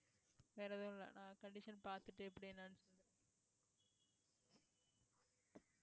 வேற எதுவும் இல்லை அஹ் condition பார்த்துட்டு எப்படினு